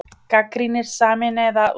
Gagnrýnir Sameinaða lífeyrissjóðinn